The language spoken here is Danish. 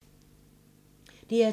DR2